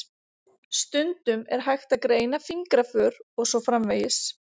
Stundum er hægt að greina fingraför og svo framvegis.